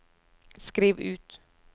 skriv ut